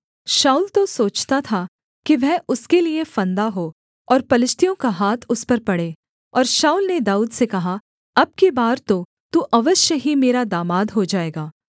शाऊल तो सोचता था कि वह उसके लिये फंदा हो और पलिश्तियों का हाथ उस पर पड़े और शाऊल ने दाऊद से कहा अब की बार तो तू अवश्य ही मेरा दामाद हो जाएगा